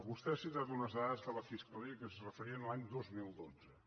vostè ha citat unes dades de la fiscalia que es referien a l’any dos mil dotze